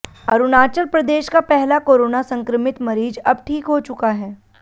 अरुणाचल प्रदेश का पहला कोरोना संक्रमित मरीज अब ठीक हो चुका है